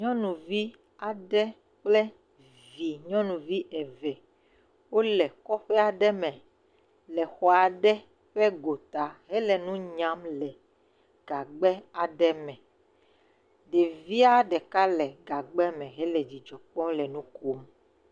Nyɔnuvi aɖe kple vi nyɔnuvi eve, wole kɔƒe aɖe me le xɔ aɖe ƒe gota hele nu nyam le gagbe aɖe me. Ɖevia ɖe ka le gagbea me he le dzidzɔ kpɔm le nu kom